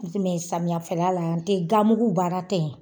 Samiyafɛla n te mugu baara te yen